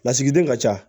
Lasigiden ka ca